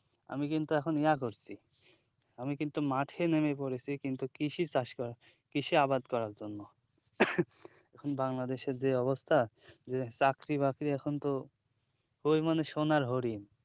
আমি কিন্তু এখন ইয়া করছি আমি কিন্তু মাঠে নেমে পড়েছি কিন্তু কৃষি চাষ কৃষি আবাদ করার জন্য এখন bangadesh এর যে অবস্থা যে চাকরি বাকরি এখনতো খুবই মানে সোনার হরিণ